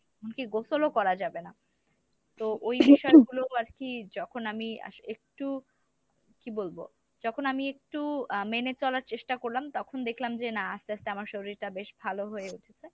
এমনকি গোসলও করা যাবে না তো ওই যে কাজগুলো আরকি যখন আমি একটু কী বলবো যখন আমি একটু আহ মেনে চলার চেষ্টা করলাম তখন দেখলাম যে না আস্তে আস্তে আমার শরীরটা বেশ ভালো হয়ে উঠেছে।